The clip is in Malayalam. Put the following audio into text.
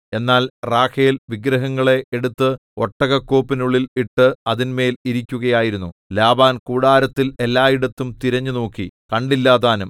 എന്നാൽ റാഹേൽ വിഗ്രഹങ്ങളെ എടുത്ത് ഒട്ടകക്കോപ്പിനുള്ളിൽ ഇട്ട് അതിന്മേൽ ഇരിക്കുകയായിരുന്നു ലാബാൻ കൂടാരത്തിൽ എല്ലായിടത്തും തിരഞ്ഞുനോക്കി കണ്ടില്ലതാനും